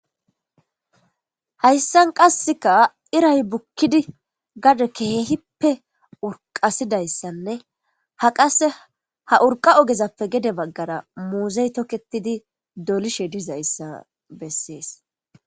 Hayssan qasseka iray bukkidi gade kehehipppe urqasidayssanne ha qase ha urqa ogezappe gede maggara muuzey tokketidi dolishe dizayssa bessees.